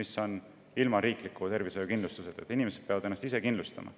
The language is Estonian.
Seal puudub riiklik tervishoiukindlustus, inimesed peavad ennast ise kindlustama.